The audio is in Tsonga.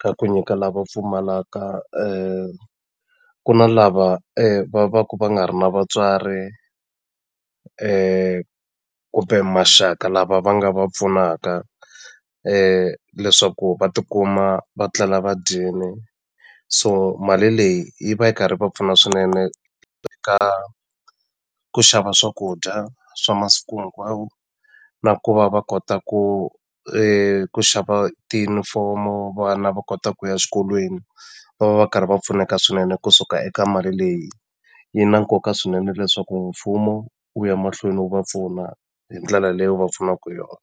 ka ku nyika lava pfumalaka ku na lava va va ku va nga ri na vatswari kumbe maxaka lava va nga va pfunaka leswaku va tikuma va tlela va dyile so mali leyi yi va yi karhi yi va pfuna swinene eka ku xava swakudya swa masiku hinkwawo na ku va va kota ku ku xava tiyunifomo vana va kota ku ya xikolweni va va va karhi va pfuneka swinene kusuka eka mali leyi yi na nkoka swinene leswaku mfumo wu ya mahlweni wu va pfuna hi ndlela leyi wu va pfunaku hi yona.